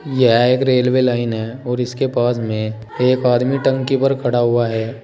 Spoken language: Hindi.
यह एक रेलवे लाइन है और इसके पास में एक आदमी टंकी पर खड़ा हुआ है।